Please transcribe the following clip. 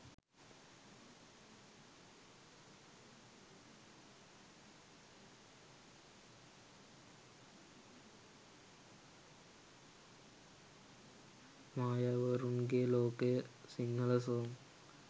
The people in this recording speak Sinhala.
mayawarunge lokaya sinhala song